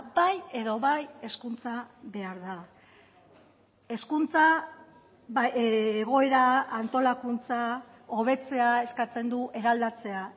bai edo bai hezkuntza behar da hezkuntza egoera antolakuntza hobetzea eskatzen du eraldatzea